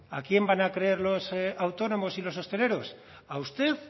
a quién van a creer los autónomos y los hosteleros a usted